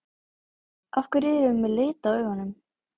Af hverju erum við með lit á augunum?